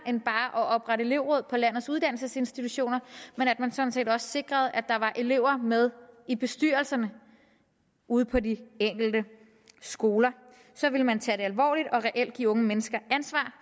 end bare at oprette elevråd på landets uddannelsesinstitutioner ved at man sådan set også sikrede at der var elever med i bestyrelserne ude på de enkelte skoler så ville man tage det alvorligt og reelt give unge mennesker ansvar